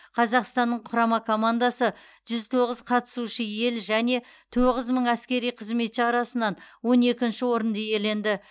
қазақстанның құрама командасы жүз тоғыз қатысушы ел және тоғыз мың әскери қызметші арасынан он екінші орынды иеленді